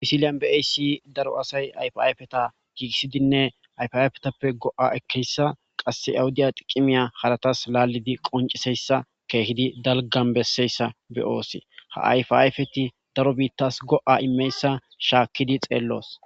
pisiliyan beaysi daro asay ayfayfeta giigissidinne ayfiayfetappe go7a ekeyssa qasse awuddiya tiqimiya haratas laalidi qonciseyssa keehidi dalgan besseyssa be oose ha ayf ayfeti daro biittas go7a immeyssa shaakkidi xeelloos